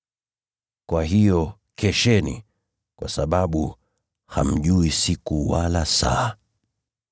“Kwa hiyo kesheni, kwa sababu hamjui siku wala saa.